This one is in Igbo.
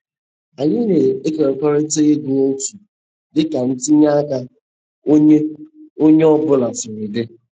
Anyị na-ekekọrịta ego otu dị ka ntinye aka onye onye ọ bụla siri dị.